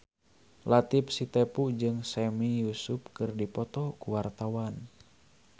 Latief Sitepu jeung Sami Yusuf keur dipoto ku wartawan